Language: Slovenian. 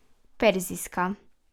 Perzijska?